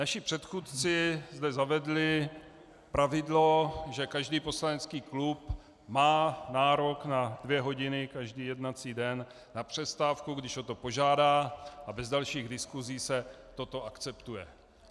Naši předchůdci zde zavedli pravidlo, že každý poslanecký klub má nárok na dvě hodiny každý jednací den na přestávku, když o to požádá, a bez dalších diskusí se toto akceptuje.